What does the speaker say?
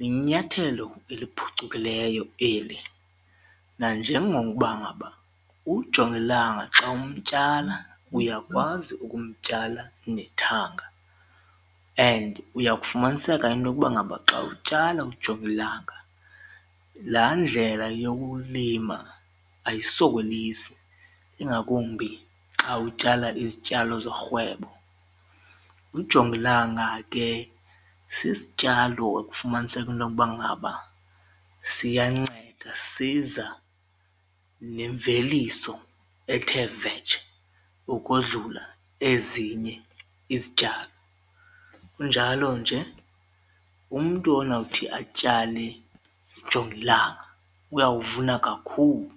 linyathelo eliphucukileyo eli nanjengokuba ngaba ujongilanga xa umtyala uyakwazi ukumtyala nethanga and uyakufumaniseka intokuba ngaba xa utyala ujongilanga laa ndlela yokulima ayisokolisi ingakumbi xa utyala izityalo zorhwebo. Ujongilanga ke sisityalo ekufumaniseka intokuba ngaba siyanceda siza nemveliso ethe vetshe ukodlula ezinye izityalo kunjalo nje umntu onawuthi atyale ujongilanga uyawuvuna kakhulu.